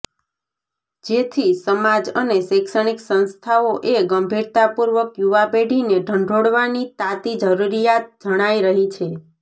જેથી સમાજ અને શૈક્ષણિક સંસ્થાઓ એ ગંભીરતાપુર્વક યુવાપેઢીને ઢંઢોળવાની તાતી જરુરીયાત જણાય રહી છે